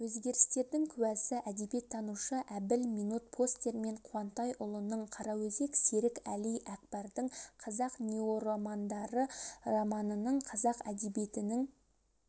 өзгерістердің куәсі әдебиеттанушы әбіл минут постермен қуантайұлының қараөзек серік әли әкбардың қазақ неоромандары романының қазақ әдебиетінің